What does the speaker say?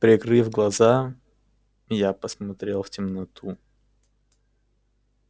прикрыв глаза я посмотрел в темноту